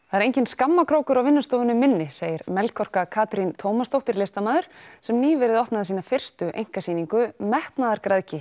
það er enginn skammarkrókur á vinnustofunni minni segir Melkorka Katrín Tómasdóttir listamaður sem nýverið opnaði sína fyrstu einkasýningu